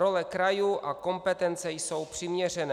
Role krajů a kompetence jsou přiměřené.